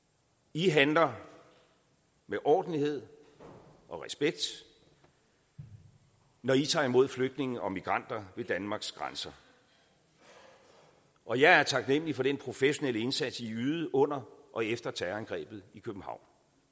i handler med ordentlighed og respekt når i tager imod flygtninge og migranter ved danmarks grænser og jeg er taknemlig for den professionelle indsats i ydede under og efter terrorangrebet i københavn